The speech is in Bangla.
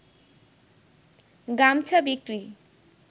গামছা বিক্রি